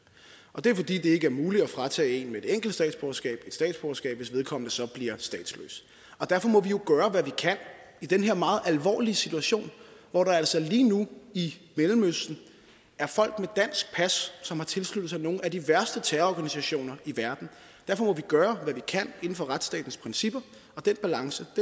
og det er fordi det ikke er muligt at fratage en med et enkelt statsborgerskab et statsborgerskab hvis vedkommende så bliver statsløs derfor må vi jo i den her meget alvorlige situation hvor der altså lige nu i mellemøsten er folk dansk pas som har tilsluttet sig nogle af de værste terrororganisationer i verden gøre hvad vi kan inden for retsstatens principper og den balance